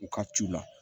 U ka ciw la